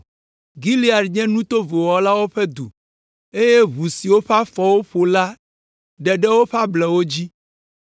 Gilead nye nu tovo wɔlawo ƒe du, eye ʋu si woƒe afɔwo ƒo la ɖe ɖe woƒe ablɔwo dzi.